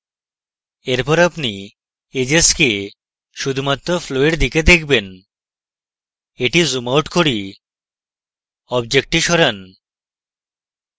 এরপর আপনি edges কে শুধুমাত্র flow এর দিকে দেখবেন এটি zoom out করি অবজেক্টটি সরান